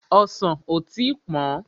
Ọsàn ò tí pọ́n.